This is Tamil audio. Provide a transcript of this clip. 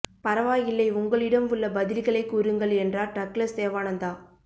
பரவாயில்லை உங்களிடம் உள்ள பதில்களை கூறுங்கள் என்றார் டக்ளஸ் தேவானந்தா